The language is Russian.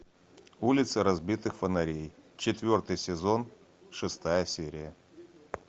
улица разбитых фонарей четвертый сезон шестая серия